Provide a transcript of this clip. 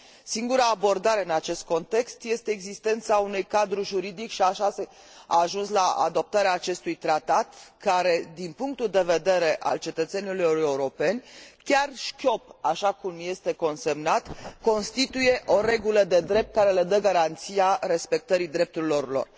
Singura abordare, în acest context, este existența unui cadru juridic și așa s a ajuns la adoptarea acestui tratat, care din punctul de vedere al cetățenilor europeni, chiar șchiop, așa cum este consemnat, constituie o regulă de drept care le dă garanția respectării drepturilor lor.